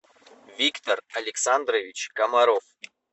виктор александрович комаров